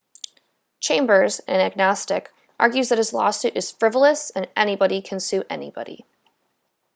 chambers an agnostic argues that his lawsuit is frivolous and anybody can sue anybody